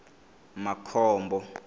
makhombo